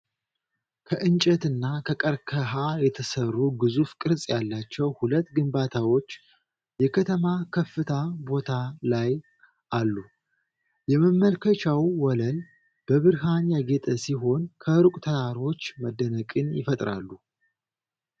ከእንጨትና ከቀርከሃ የተሠሩ ግዙፍ ቅርፅ ያላቸው ሁለት ግንባታዎች የከተማ ከፍታ ቦታ ላይ አሉ። የመመልከቻው ወለል በብርሃን ያጌጠ ሲሆን፣ ከሩቅ ተራሮች መደነቅን ይፈጥራሉ።